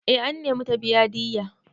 Eh an nemi ta biya diyya.